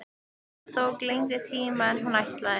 Það tók lengri tíma en hún ætlaði.